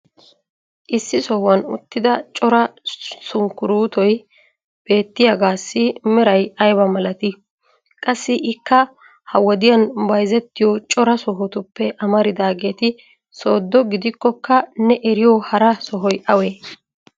issi sohuwan uttida cora sunkkuruuttoy beettiyagaassi meray aybba malattii? qassi ikka ha wodiyan bayzzettiyo cora sohotuppe amaridaageeti soodo gidikkokka ne erriyo hara sohoy awee?